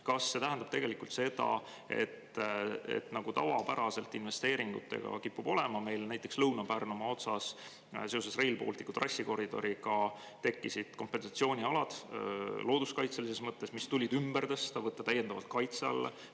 Kas see tähendab seda, mis tavapäraselt investeeringutega kipub olema, nagu meil näiteks Lõuna-Pärnumaa otsas seoses Rail Balticu trassikoridoriga oli – tekkisid kompensatsioonialad looduskaitselises mõttes, mis tulid ümber tõsta, võtta täiendavalt kaitse alla?